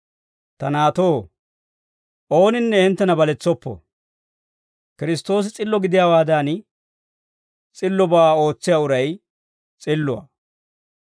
Ta naatoo, ooninne hinttena baletsoppo. Kiristtoosi s'illo gidiyaawaadan, s'illobaa ootsiyaa uray s'illuwaa.